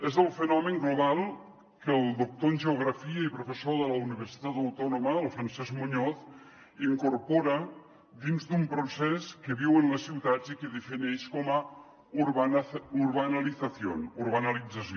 és el fenomen global que el doctor en geografia i professor de la universitat autònoma francesc muñoz incorpora dins d’un procés que viuen les ciutats i que defineix com a urbanalizaciónció